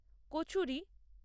kachori